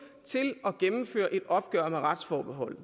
til at gennemføre et opgør med retsforbeholdet